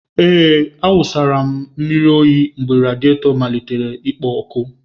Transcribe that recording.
Ee, m wụsara na mmiri oyi mgbe radiato malitere ikpo ọkụ.